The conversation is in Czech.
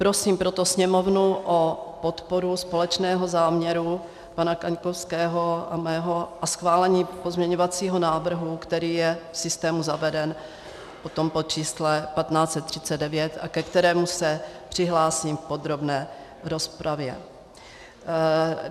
Prosím proto Sněmovnu o podporu společného záměru pana Kaňkovského a mého a schválení pozměňovacího návrhu, který je v systému zaveden potom pod číslem 1539 a ke kterému se přihlásím v podrobné rozpravě.